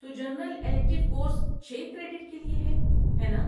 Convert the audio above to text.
تو general elective course چھ credit کے لیے ہے، ہے ناں؟